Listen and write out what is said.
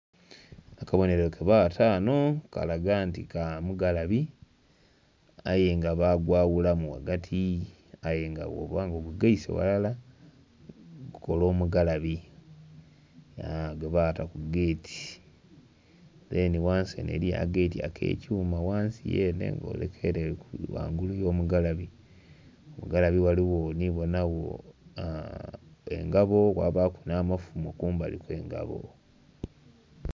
Akabonhero ke bata ghano akalaga nti ka mugalabe aye nga bagwaghulamu ghagati aye nga bwoba nga ogugaise ghalala gu kola omugalabe aa.. gwe bata ku geeti, dheni ghansi enho eriyo akageeti ake kyuma ghansi yenhe nga oleka ere ghaigulu yo mugalabe. Ghamugalabe ghaligho ndhi bonhagho engabo kwabaku nha mafumo ku ngabo.